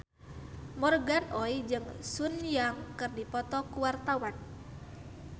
Morgan Oey jeung Sun Yang keur dipoto ku wartawan